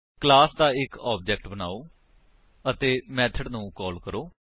class ਦਾ ਇੱਕ object ਬਨਾਓ ਅਤੇ ਮੇਥਡਸ ਨੂੰ ਕਾਲ ਕਰੋ